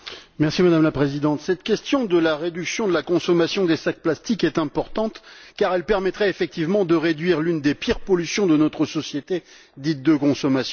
Madame la Présidente, cette question relative à la réduction de la consommation des sacs plastiques est importante car elle permettrait effectivement de réduire une des pires pollutions de notre société, dite de consommation.